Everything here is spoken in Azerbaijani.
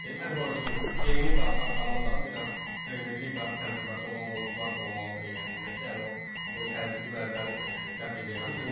Çünki yeni qalxan komandanın biraz Premyer Liqa təcrübəsi olan oyunçular da olmalıdır heyətində ki, yəni o təzyiqi bəzən dəf eləyə bilsinlər.